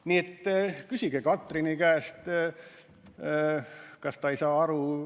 Nii et küsige Katrini käest, kas ta ei saa aru.